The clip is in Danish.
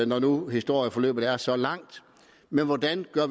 når nu historieforløbet er så langt men hvordan